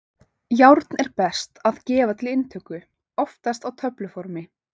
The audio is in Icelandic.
Járn er best að gefa til inntöku, oftast á töfluformi.